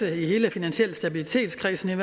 i hele finansiel stabilitet kredsen